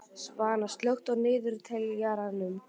Svana, slökktu á niðurteljaranum.